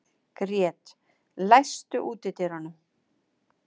Grét, læstu útidyrunum.